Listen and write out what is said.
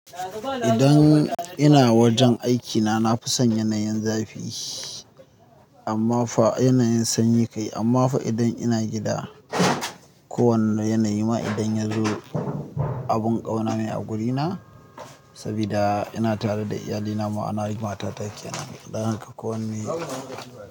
Idan ina wajen aikina, na fi son yanayin zafi amma fa yanayin sanyi kai. Amma fa idan ina gida, kowane yanayi ma idan ya zo abin ƙauna ne a wurina. Saboda ina tare da iyalina ma ana matata kenan. Don haka ko wanne.